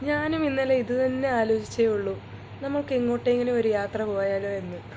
ഞാനും ഇന്നലെ ഇത് തന്നെ ആലോചിച്ചെ ഉള്ളു നമുക്ക് എങ്ങോട്ടെങ്കിലും ഒരു യാത്ര പോയാലോ എന്ന്